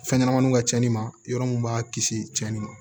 Fɛn ɲɛnɛmaninw ka cani ma yɔrɔ mun b'a kisi cɛnni ma